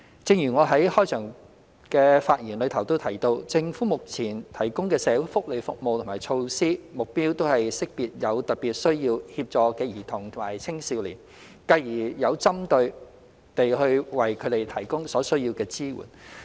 正如我在開場發言時提到，政府目前提供的社會福利服務和措施，目標都是識別有特別需要協助的兒童及青少年，繼而有針對地為他們提供所需的支援。